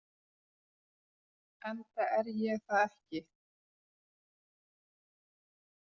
Enda er ég það ekki.